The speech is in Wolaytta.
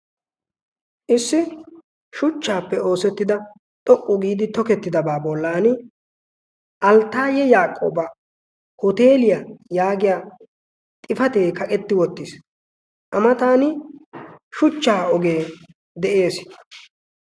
Issi shuchchaappe oosettida xoqqu giidi tokettidabaa bollan alttaayye yaaqooba hoteeliyaa yaagiya xifatee kaqetti wottiis. A matan shuchchaa ogee de'ees.